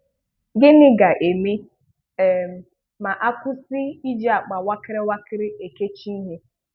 Gịnị ga-eme um ma a kwụsị iji akpa wakịrị wakịrị ekechi ihe?